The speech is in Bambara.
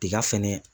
Tiga fɛnɛ